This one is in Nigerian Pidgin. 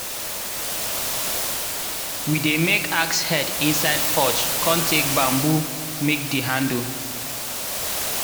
we dey make axe head inside forge con take bamboo make di handle.